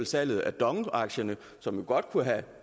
salget af dong aktierne som jo godt kunne have